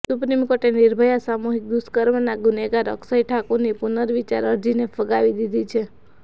supreme કોર્ટે નિર્ભયા સામૂહિક દુષ્કર્મના ગુનેગાર અક્ષય ઠાકુરની પુનર્વિચાર અરજીને ફગાવી દીધી છે